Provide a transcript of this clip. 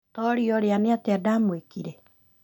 Toria ũrĩa nĩatĩa ndamwĩkire